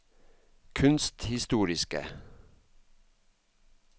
kunsthistoriske